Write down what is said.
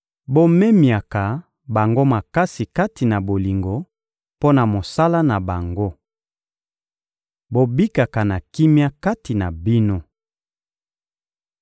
Bomemiaka bango makasi kati na bolingo mpo na mosala na bango. Bobikaka na kimia kati na bino.